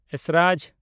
esraj